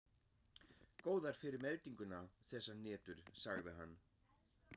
Góðar fyrir meltinguna, þessar hnetur sagði hann.